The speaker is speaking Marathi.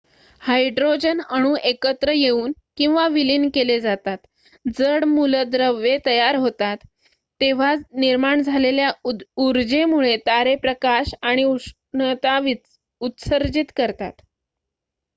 हायड्रोजन अणू एकत्र येऊन किंवा विलीन केले जातात जड मूलद्रव्ये तयार होतात तेव्हा निर्माण झालेल्या ऊर्जेमुळे तारे प्रकाश आणि उष्णता उत्सर्जित करतात